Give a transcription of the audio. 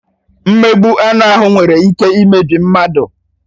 Mmegbu anụ ahụ nwere ike imebi mmadụ.